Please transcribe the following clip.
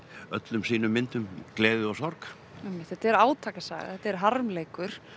öllum sínum myndum gleði og sorg einmitt þetta er átakasaga þetta er harmleikur